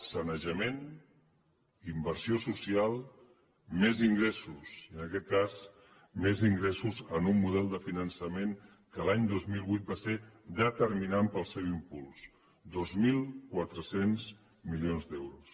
sanejament inversió social més ingressos i en aquest cas més ingressos amb un model de finançament que l’any dos mil vuit va ser determinant per al seu impuls dos mil quatre cents milions d’euros